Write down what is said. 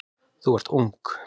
Þú ert ung.